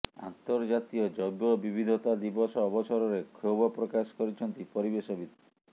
ଆନ୍ତର୍ଜାତୀୟ ଜୈବ ବିବିଧତା ଦିବସ ଅବସରରେ କ୍ଷୋଭ ପ୍ରକାଶ କରିଛନ୍ତି ପରିବେଶବିତ